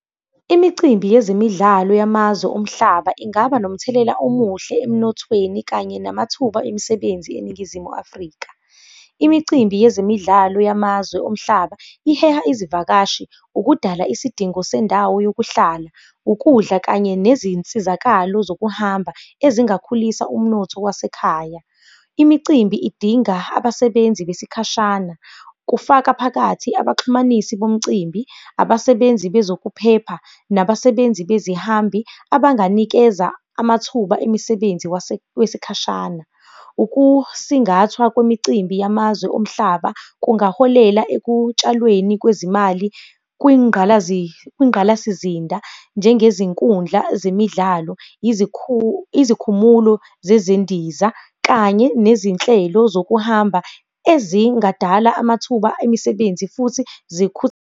Imicimbi yezemidlalo yamazwe omhlaba ingaba nomthelela omuhle emnothweni kanye namathuba emisebenzi eNingizimu Afrika. Imicimbi yezemidlalo yamazwe omhlaba, iheha izivakashi, ukudala isidingo sendawo yokuhlala, ukudla kanye nezinsizakalo zokuhamba ezingakhulisa umnotho wasekhaya. Imicimbi idinga abasebenzi besikashana, kufaka phakathi abaxhumanisi bomcimbi, abasebenzi bezokuphepha, nabasebenzi bezihambi abanganikeza amathuba emisebenzi wesikhashana. Ukusingathwa kwemicimbi yamazwe omhlaba kungaholela ekutshalweni kwezimali kwingqalasizinda, njengezinkundla zemidlalo, izikhumulo zezindiza kanye nezinhlelo zokuhamba ezingadala amathuba emisebenzi futhi